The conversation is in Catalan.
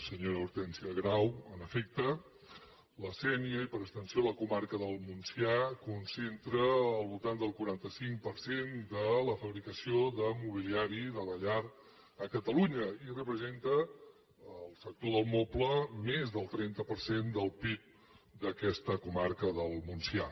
senyora hortènsia grau en efecte la sénia i per extensió la comarca del montsià concentra al voltant del quaranta cinc per cent de la fabricació de mobiliari de la llar a catalunya i representa el sector del moble més del trenta per cent del pib d’aquesta comarca del montsià